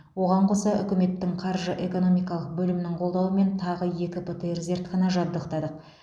оған қоса үкіметтің қаржы экономикалық бөлімінің қолдауымен тағы екі птр зертхана жабдықтадық